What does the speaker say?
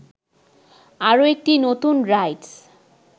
আরো একটি নতুন রাইডস